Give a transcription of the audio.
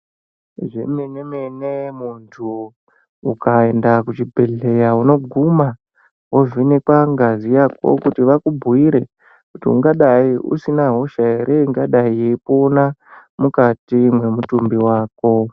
Zvemene-mene, muntu ukaenda kuchibhedhlera unoguma wovhenekwa ngazi yako kuti vakubhuire ungadai usina hosha here ingadai yeipona mukati memutumbi wako.